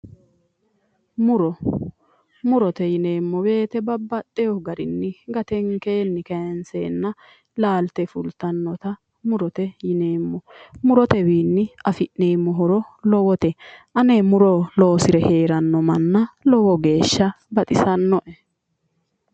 muro murote yineemmo wote babbaxino garinni gatenkeenni kayiinseenna laalte fultannota murote yineemmo murotewiinni afi'neemmo horo lowote ane muro loosire heeranno manna lowo geeshsha baxisannoe.